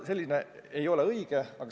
See ei ole õige.